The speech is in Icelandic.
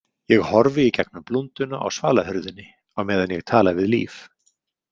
Ég horfi í gegnum blúnduna á svalahurðinni á meðan ég tala við Líf.